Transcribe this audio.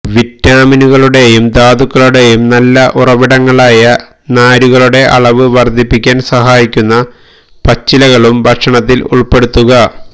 വിറ്റാമിനുകളുടെയും ധാതുക്കളുടെയും നല്ല ഉറവിടങ്ങളായ നാരുകളുടെ അളവ് വര്ദ്ധിപ്പിക്കാന് സഹായിക്കുന്ന പച്ചിലകളും ഭക്ഷണത്തില് ഉള്പ്പെടുത്തുക